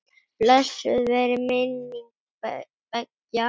Blessuð veri minning beggja.